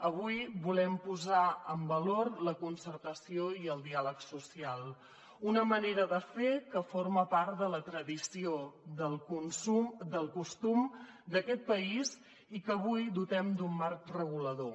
avui volem posar en valor la concertació i el diàleg social una manera de fer que forma part de la tradició del costum d’aquest país i que avui dotem d’un marc regulador